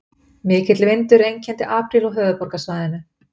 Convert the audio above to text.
Mikill vindur einkenndi apríl á höfuðborgarsvæðinu